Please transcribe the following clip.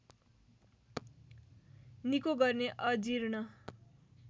निको गर्ने अजिर्ण